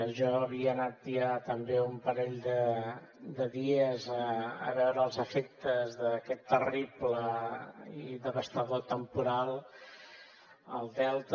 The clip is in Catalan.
jo havia anat ja també un parell de dies a veure els efectes d’aquest terrible i devastador temporal al delta